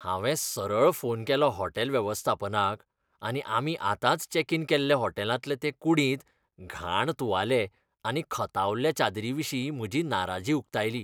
हांवें सरळ फोन केलो हॉटेल वेवस्थापनाक आनी आमी आतांच चॅक इन केल्ले हॉटेलांतले ते कुडींत घाण तुवाले आनी खतावल्ल्या चादरीं विशीं म्हजी नाराजी उकतायली.